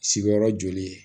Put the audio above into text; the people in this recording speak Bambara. Sigiyɔrɔ joli ye